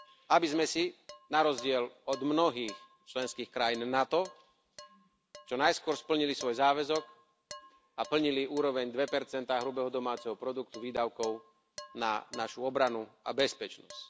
aby sme si na rozdiel od mnohých členských krajín NATO čo najskôr splnili svoj záväzok a plnili úroveň 2 hrubého domáceho produktu výdavkov na našu obranu a bezpečnosť.